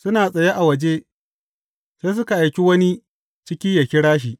Suna tsaye a waje, sai suka aiki wani ciki yă kira shi.